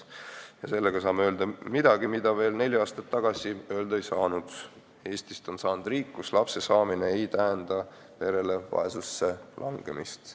Tänu sellele saame öelda midagi, mida veel neli aastat tagasi öelda ei saanud: Eestist on saanud riik, kus lapse saamine ei tähenda perele vaesusesse langemist.